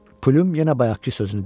Plüm yenə bayaqkı sözünü dedi.